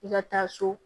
I ka taa so